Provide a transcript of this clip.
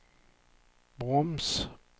broms